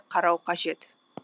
қарау қажет